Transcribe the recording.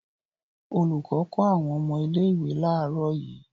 Olùkọ́ kọ́ àwọn ọmọ ilé-ìwé láàárọ̀ yìí.